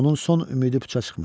Onun son ümidi puça çıxmışdı.